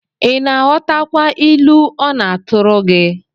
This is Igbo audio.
Ị na-aghọtakwa ilu ọ na-atụrụ gi?